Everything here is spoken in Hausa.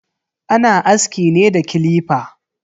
Ana aski ne da clipper.